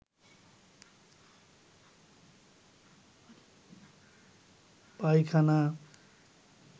পায়খানা